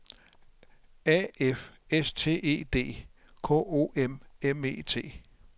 A F S T E D K O M M E T